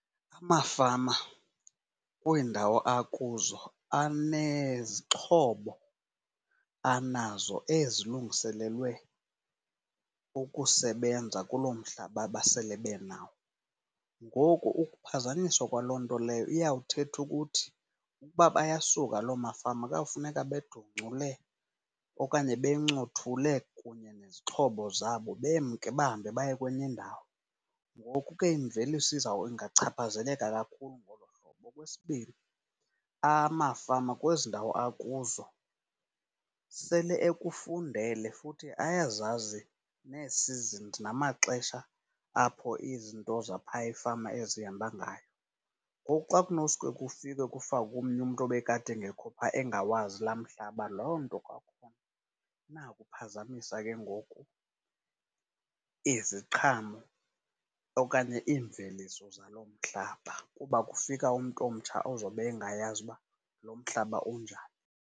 Amafama kwiindawo akuzo anezixhobo anazo ezilungiselelwe ukusebenza kuloo mhlaba basele benawo. Ngoku ukuphazanyiswa kwaloo nto leyo iyawuthetha ukuthi, uba bayasuka loo mafama kuyawufuneka bedoncule okanye bencothule kunye nezixhobo zabo bemke bahambe baye kwenye indawo. Ngoku ke imveliso ingachaphazeleka kakhulu ngolo hlobo. Okwesibini, amafama kwezi ndawo akuzo sele ekufundele futhi ayazazi nee-seasons namaxesha apho izinto zaphaya efama ezihamba ngayo. Ngoku xa kunosuke kufike kufakwe omnye umntu obekade engekho pha engawazi laa mhlaba loo nto kwakhona inako ukuphazamisa ke ngoku iziqhamo okanye iimveliso zaloo mhlaba, kuba kufika umntu omtsha ozobe engayazi uba loo mhlaba unjani.